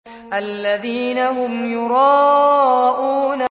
الَّذِينَ هُمْ يُرَاءُونَ